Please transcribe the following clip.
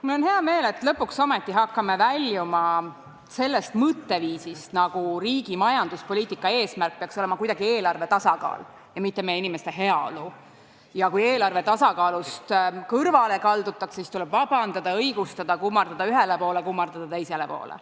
Mul on hea meel, et me lõpuks ometi hakkame väljuma sellest mõtteviisist, nagu riigi majanduspoliitika eesmärk peaks olema eelarve tasakaal ja mitte meie inimeste heaolu ning et kui eelarve tasakaalust kõrvale kaldutakse, siis tuleb vabandust paluda, õigustada, kummardada ühele poole ja kummardada teisele poole.